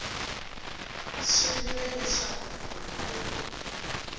swi vula leswaku munhu u